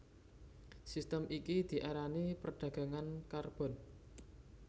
Sistem iki diarani perdagangan karbon